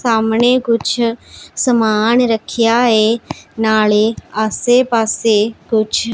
ਸਾਹਮਣੇ ਕੁੱਛ ਸਮਾਣ ਰੱਖਿਆ ਹੈ ਨਾਲੇ ਆਸੇ ਪਾੱਸੇ ਕੁਛ--